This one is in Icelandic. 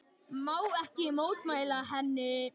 Má ekki mótmæla henni.